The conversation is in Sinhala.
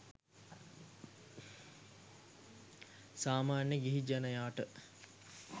සාමාන්‍ය ගිහි ජනයාට